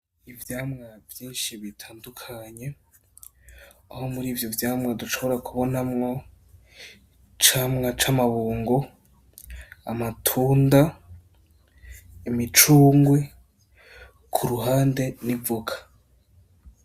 Ivyamwa vyinshi bitandukanye, aho murivyo vyamwa dushobora kubonamwo icamwa c'amabungo ,amatunda imicungwe, kuruhande n'ivoka.